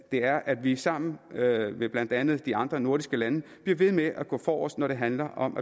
er at vi sammen med blandt andet de andre nordiske lande bliver ved med at gå forrest når det handler om